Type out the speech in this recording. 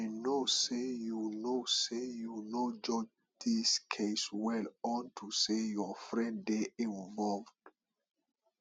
i know say you no say you no judge dis case well unto say your friend dey involved